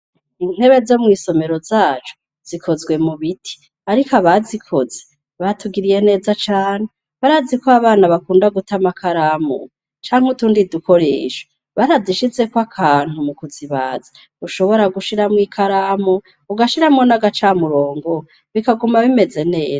Intebe zo mw'isomero zacu, zikozwe mu biti. Ariko abazikoze batugiriye neza cane, barazi ko abana bakinda guta amakaramu canke utundi dukoresho. Barazishizeko akantu mu kuzibaza, ushonora gushiramwo ikaramu, ugashiramwo n'agacamurongo bikaguma bimeze neza.